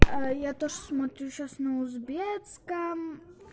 я тоже смотрю сейчас на узбекском